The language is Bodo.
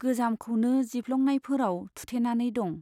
गोजामखौनो जिफ्लंनायफोराव थुथेनानै दं।